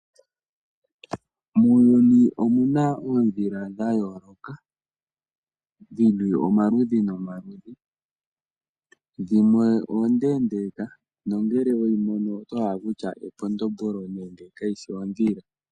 Muuyuni omu na oondhila dha yooloka. Dhili omaludhi nomaludhi, dhimwe oondeendeeka nongele weyi mono oto hala okutya ekondombolo nenge ka yishi ondhila.